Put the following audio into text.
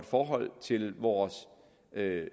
forhold til vores